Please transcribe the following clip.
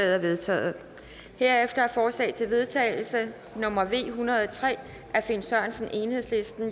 er vedtaget herefter er forslag til vedtagelse nummer v en hundrede og tre af finn sørensen